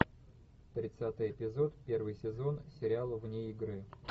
тридцатый эпизод первый сезон сериал вне игры